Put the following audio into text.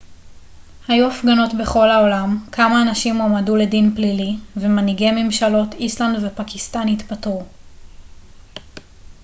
היו הפגנות בכל העולם כמה אנשים הועמדו לדין פלילי ומנהיגי ממשלות איסלנד ופקיסטן התפטרו